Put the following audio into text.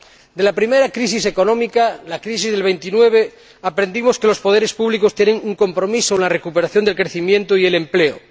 De la primera crisis económica, la crisis del 29, aprendimos que los poderes públicos tienen un compromiso con la recuperación del crecimiento y el empleo